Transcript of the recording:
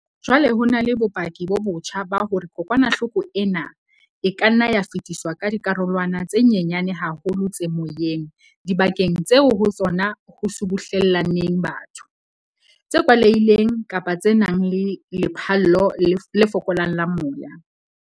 Jwale ho na le bopaki bo botjha ba hore kokwanahloko ena e ka nna ya fetiswa ka dikarolwana tse nyenyane haholo tse moyeng dibakeng tseo ho tsona ho subuhlellaneng batho, tse kwalehileng kapa tse nang le lephallo le fokolang la moya.